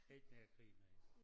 Ikke mere krig nej